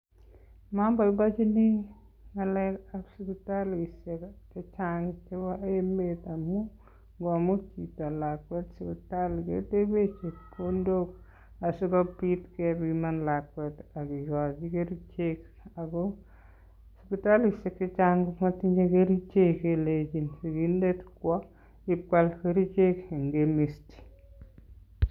Moboiboienchini ng'alekab sipitalisiek chechang chebo emet amun ngomut chito lakwet sipitali keteben chepkondok asikobit kepiman lakwet ak kigochi kerichek. Ago sipitaliseik che chang komotinye kerichek kelenchin sigindet kwo ipkwal kerichek en chemist.